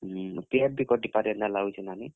PF ବି କଟିପାରେ ଏନ୍ତା ଲାଗୁଛେ ନାନୀ।